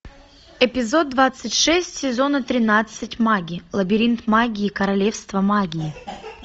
эпизод двадцать шесть сезона тринадцать маги лабирит маги и королевство магии